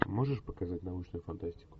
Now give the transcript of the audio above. можешь показать научную фантастику